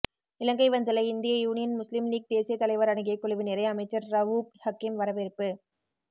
இலங்கை வந்துள்ள இந்திய Union Muslim League தேசிய தலைவர் அடங்கிய குழுவினரை அமைச்சர் ரவூப் ஹக்கீம் வரவேற்பு